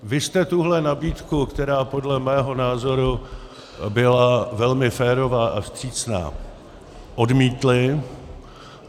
Vy jste tuhle nabídku, která podle mého názoru byla... velmi férová a vstřícná, odmítli.